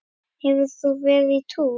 Hefur þú verið á túr?